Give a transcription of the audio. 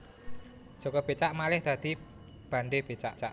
Jaka Becak malih dadi Bandhe Becak